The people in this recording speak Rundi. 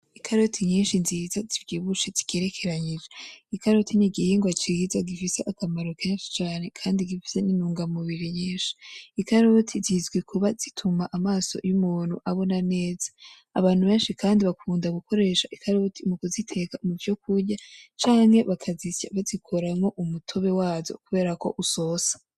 Ikaroti nyinshi nziza zivyibushe zigerekeranye. ikaroti nigihingwa ciza gifise akamaro kenshi cane kandi gifise n'intunga mubiri nyinshi ikaroti zizwi kuba zituma amaso y'umuntu abona neza. abantu benshi kandi bakunda gukoresha ikaroti mukuziteka muvyo kurya canke bakazisya bazikoramwo umutobe wazo kuko zisosa